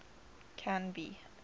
canby